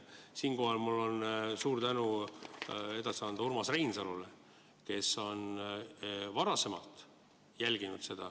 Siinkohal on mul suur tänu edasi anda Urmas Reinsalule, kes on varasemalt seda jälginud.